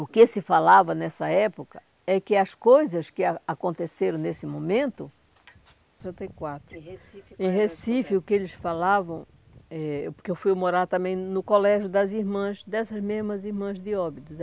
O que se falava nessa época é que as coisas que a aconteceram nesse momento... Em Recife, o que eles falavam eh... Porque eu fui morar também no colégio das irmãs, dessas mesmas irmãs de Óbidos.